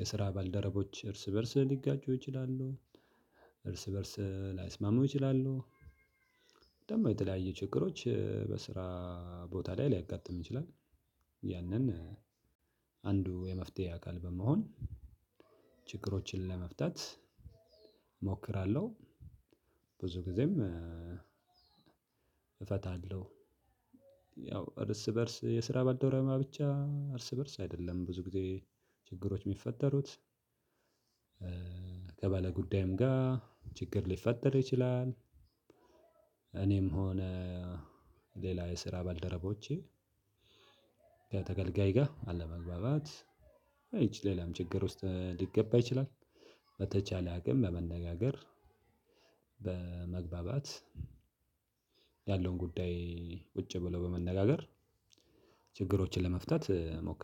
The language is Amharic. የስራ ባልደረቦች እርስ በእርስ ሊጋጩ ይችላሉ። እርስ በእርስ ላይስማሙ ይችላሉ። ደግሞ የተለያየ ችግሮች በስራ ቦታ ላይ ሊያጋጥም ይችላል። ያንን አንዱ የመፍትሄ አካል በመሆን ችግሮችን ለመፍታት እሞክራለሁ። ብዙ ጊዜም እፈታለሁ። ያው እርስ በርስ የስራ ባልደረባ ብቻ እርስ በርስ አይደለም ብዙ ጊዜ ችግሮች የሚፈጠሩት። ከባለ ጉዳይም ጋር ችግር ሊፈጠር ይችላል። እኔም ሆነ ሌላ የስራ ባልደረቦቼ። ከተገልጋይ ጋር አለመግባባት ይቺ ሌላም ችግር ውስጥ ሊገባ ይችላል። በተቻለ አቅም በመነጋገር በመግባባት ያለውን ጉዳይ ቁጭ ብሎ በመነጋገር ችግሮችን ለመፍታት እሞክራለው